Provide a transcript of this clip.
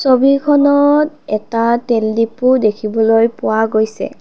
ছবিখনত এটা তেল ডিপো দেখিবলৈ পোৱা গৈছে।